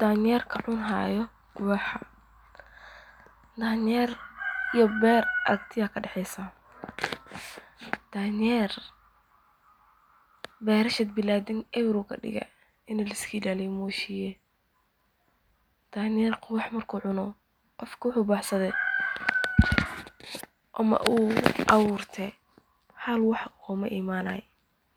Danyeerka cuni haayo wax, danyeer iyo beer aragti ayaa kadaxeysa, beerta eber ayuu kadige,